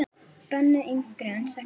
Bönnuð yngri en sex ára.